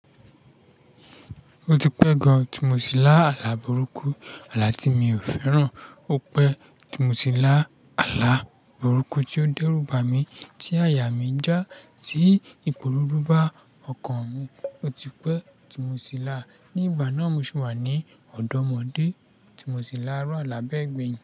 Ó ti pẹ́ gan-an tí mo ti là àlà burúkú, àlà tí mi ò fẹ́ràn. Ó pẹ́ tí mo ti là àlà burúkú tí ó dẹ́rù ba mi, tí àyà mi já, tí Iporo rú ba ọkàn mi. Ó ti pẹ́ tí mo ti là á. Ni ìgbà náà mo ṣubú wà ní ọ̀dọ́ ọmọdé. Ti mo ti laàrú àlà bẹ́ẹ̀ gbeyin.